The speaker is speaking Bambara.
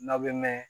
N'aw bɛ mɛn